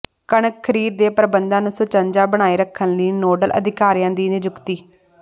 ਕਣਕ ਖ਼ਰੀਦ ਦੇ ਪ੍ਰਬੰਧਾਂ ਨੂੰ ਸੁਚੱਜਾ ਬਣਾਏ ਰੱਖਣ ਲਈ ਨੋਡਲ ਅਧਿਕਾਰੀਆਂ ਦੀ ਨਿਯੁਕਤੀ